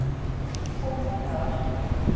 Svo kom hún í dag.